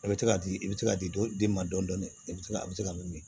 I bɛ se ka di i bɛ se k'a di den ma dɔɔnin dɔɔnin i bɛ se ka a bɛ se ka min min